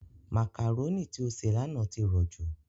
Màkàrónì tí ó sè lánàá ti rọ̀jú.